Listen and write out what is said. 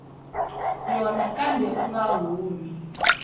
yona kambe u nga humi